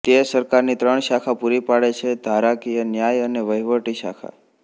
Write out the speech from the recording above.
તે સરકારની ત્રણ શાખા પુરી પાડે છેઃ ધારાકીય ન્યાય અને વહીવટી શાખા